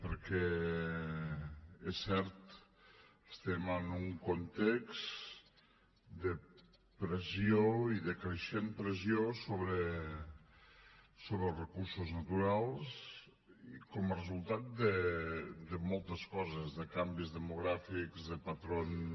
perquè és cert estem en un context de pressió i de creixent pressió sobre els recursos naturals com a resultat de moltes coses de canvis demogràfics de patrons